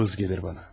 Vız gəlir bana.